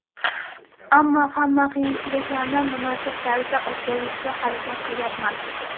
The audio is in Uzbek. Ammo hamma qiyinchiliklarni munosib tarzda o‘tkazishga harakat qilyapman.